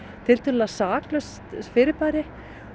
tiltölulega saklaust fyrirbæri